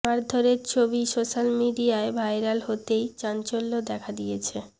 মারধরের ছবি সোশ্যাল মিডিয়ায় ভাইরাল হতেই চাঞ্চল্য দেখা দিয়েছে